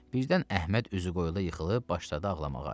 Birdən Əhməd üzü qoyula yıxılıb başladı ağlamağa.